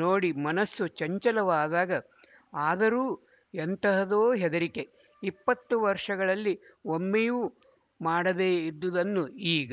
ನೋಡಿ ಮನಸ್ಸು ಚಂಚಲವಾದಾಗಆದರೂ ಎಂತಹದೋ ಹೆದರಿಕೆ ಇಪ್ಪತ್ತು ವರ್ಷಗಳಲ್ಲಿ ಒಮ್ಮೆಯೂ ಮಾಡದೇ ಇದ್ದುದನ್ನು ಈಗ